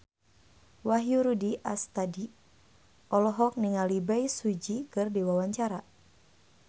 Wahyu Rudi Astadi olohok ningali Bae Su Ji keur diwawancara